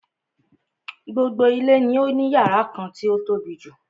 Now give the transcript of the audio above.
Gbogbo ilé ni ó ní yàrá kan tí o tóbijù.